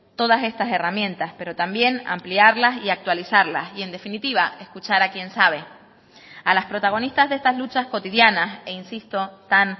todas estas herramientas pero también ampliarlas y actualizarlas y en definitiva escuchar a quien sabe a las protagonistas de estas luchas cotidianas e insisto tan